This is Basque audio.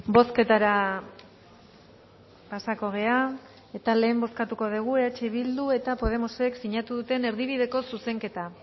bozketara pasako gara eta lehen bozkatuko dugu eh bildu eta podemosek sinatu duten erdibideko zuzenketa